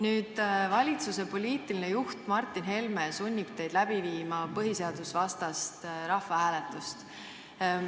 Nüüd aga valitsuse poliitiline juht Martin Helme sunnib teid läbi viima põhiseadusvastast rahvahääletust.